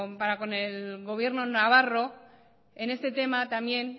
para con el gobierno navarro en este tema también